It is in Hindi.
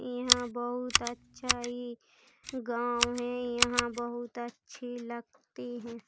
यह बोहोत अच्छा ही गांव है। यहां बोहोत अच्छे लगती है।